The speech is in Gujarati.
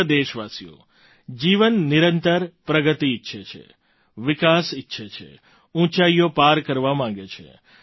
પ્રિય દેશવાસીઓ જીવન નિરંતર પ્રગતિ ઈચ્છે છે વિકાસ ઈચ્છે છે ઊંચાઈઓ પાર કરવા માગે છે